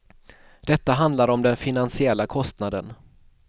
Detta handlar om den finansiella kostnaden.